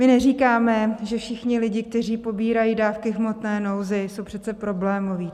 My neříkáme, že všichni lidé, kteří pobírají dávky v hmotné nouzi, jsou přece problémoví.